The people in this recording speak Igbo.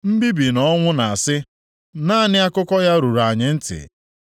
Mbibi na ọnwụ na-asị; “Naanị akụkọ ya ruru anyị ntị.”